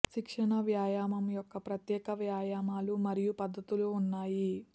శిక్షణ వ్యాయామం యొక్క ప్రత్యేక వ్యాయామాలు మరియు పద్ధతులు ఉన్నాయి